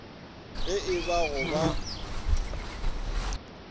ge e ba go ba